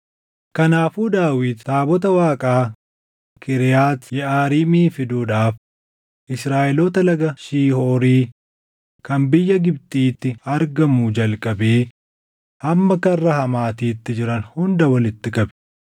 Kanaafuu Daawit taabota Waaqaa Kiriyaati Yeʼaariimii fiduudhaaf Israaʼeloota Laga Shihoorii kan biyya Gibxiitti argamuu jalqabee hamma karra Hamaatiitti jiran hunda walitti qabe.